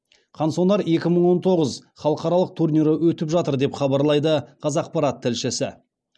қансонар екі мың он тоғыз халықаралық турнирі өтіп жатыр деп хабарлайды қазақпарат тілшісі